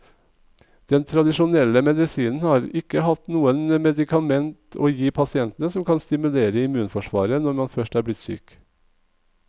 Den tradisjonelle medisinen har ikke hatt noe medikament å gi pasientene som kan stimulere immunforsvaret når man først er blitt syk.